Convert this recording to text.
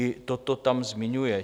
I toto tam zmiňuje.